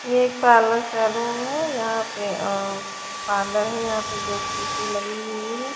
यह एक parlour salon है यहां पे आ आ बांदर है यहां पे ड्यूटी लगी हुई है।